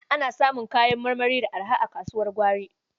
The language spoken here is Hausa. Ana samun kayan marmari da araha a kasuwar gwari.